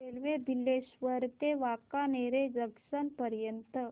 railway Bileshwar ते Wankaner junction पर्यंत